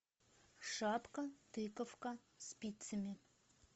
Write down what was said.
шапка тыковка спицами